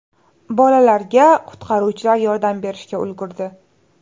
Bolalarga qutqaruvchilar yordam berishga ulgurdi.